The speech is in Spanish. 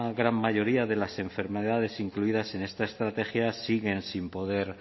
gran mayoría de las enfermedades incluidas en esta estrategia siguen sin poder